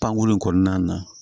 Pankurun in kɔnɔna na